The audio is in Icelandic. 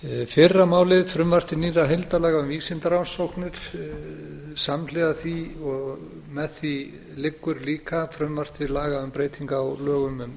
fyrra málið frumvarp til nýrra heildarlaga um vísindarannsóknir samhliða því og með því liggur líka frumvarp til laga um breytingar á lögum um